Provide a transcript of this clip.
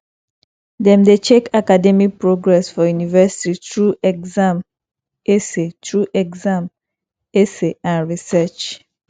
dem dey check academic progress for university through exam essay through exam essay and research